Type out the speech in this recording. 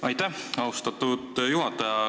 Aitäh, austatud juhataja!